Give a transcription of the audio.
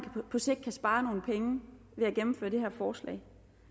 på sigt kan spare nogle penge ved at gennemføre det her forslag